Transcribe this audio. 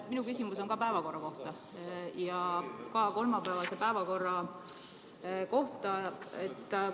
Minu küsimus on päevakorra kohta ja samuti kolmapäevase päeva kohta.